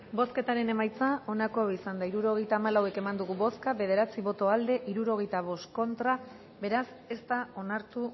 bozketaren emaitza onako izan da hirurogeita hamalau eman dugu bozka bederatzi boto aldekoa sesenta y cinco contra beraz ez da onartu